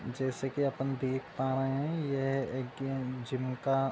जैसे कि अपन देख पा रहे हैं यह एक गें जिम का --